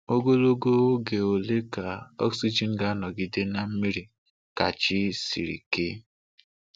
Ogologo oge ole ka oxygen ga-anọgide na mmiri ka chi siri ke?